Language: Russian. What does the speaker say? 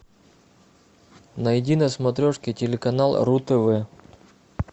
найди на смотрешке телеканал ру тв